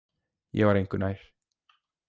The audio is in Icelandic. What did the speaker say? Ég var engu nær.